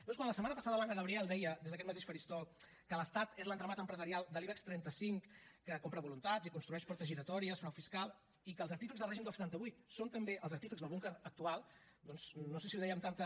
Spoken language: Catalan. doncs quan la setmana passada l’anna gabriel deia des d’aquest mateix faristol que l’estat és l’entramat empresarial de l’ibex trenta cinc que compra voluntats i construeix portes giratòries frau fiscal i que els artífexs del règim del setanta vuit són també els artífexs del búnquer actual doncs no sé si ho deia amb tanta